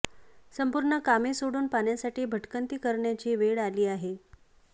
संपूर्ण कामे सोडून पाण्यासाठी भटकंती करण्याची वेळ आली आहे